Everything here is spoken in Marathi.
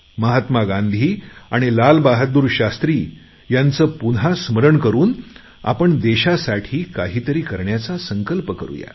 महात्मा गांधी आणि लालबहादूर शास्त्री यांचे पुन्हा स्मरण करून आपण देशासाठी काहीतरी करण्याचा संकल्प करूया